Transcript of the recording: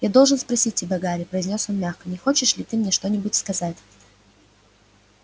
я должен спросить тебя гарри произнёс он мягко не хочешь ли ты мне что-нибудь сказать